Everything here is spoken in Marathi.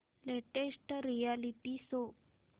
latest reality show